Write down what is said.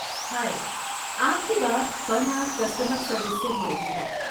ہائے، آپ کی بات فن آرٹ کسٹمر سروس سے ہو رہی ہے۔